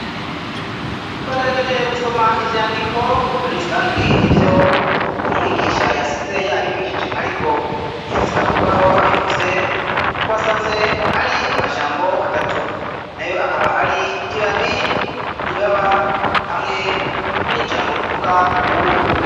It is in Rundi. twagerageje gusoma ivyandiko muri rusangi ivyo Uwo mwigisha yasize yabigishije ariko ntiyasiga kurubaho abifuse, twasanze ari amajambo atatu, nayo akaba ari ibabi, ibaba, hamwe n'ijambo tuvuga ubuyi.